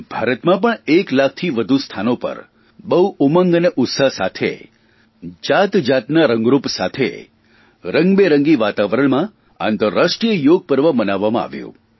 ભારતમાં પણ એકલાખથી વધુ સ્થાનો પણ બહુ ઉમંગ અને ઉત્સાહ સાથે જાતજાતનાં રંગરૂપ સાથે રંગબેરંગી વાતાવરણમાં આંતરરાષ્ટ્રીય યોગ પર્વ મનાવવામાં આવ્યું